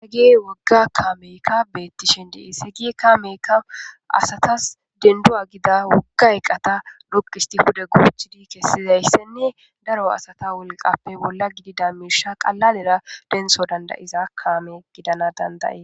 heygi wogga kaameykka bettishin dii seygi kaameykka asatas dendu7a gida wogga eqqata rokkisti pude goochidi kessizayssenne daro asata wolqappe bolla gidi damirsha qalalera denso dandayiza kaame gidana dandaye